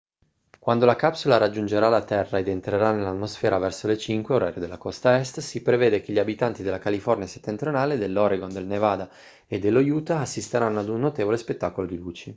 quando la capsula raggiungerà la terra ed entrerà nell'atmosfera verso le 05:00 orario della costa est si prevede che gli abitanti della california settentrionale dell'oregon del nevada e dello utah assisteranno ad un notevole spettacolo di luci